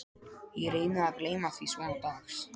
Ég reyni að gleyma því svona dags